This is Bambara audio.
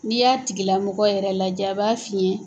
N'i y'a tigi lamɔgɔ yɛrɛ lajɛ a b'a f'i ye